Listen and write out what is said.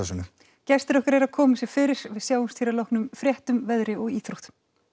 gestir okkar eru að koma sér fyrir við sjáumst hér að loknum fréttum veðri og íþróttum